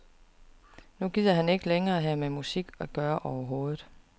Nu gider han ikke længere have med musik at gøre overhovedet.